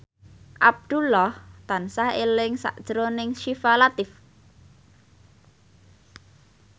Abdullah tansah eling sakjroning Syifa Latief